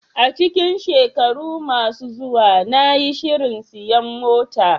A cikin shekaru masu zuwa, na yi shirin siyan mota.